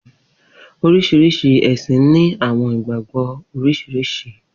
Oriṣiriṣi ẹsin ni awọn igbagbọ oriṣiriṣi.